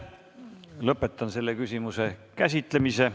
Lõpetan selle küsimuse käsitlemise.